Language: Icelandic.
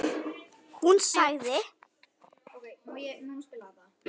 Hún sagði: